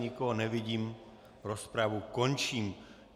Nikoho nevidím, rozpravu končím.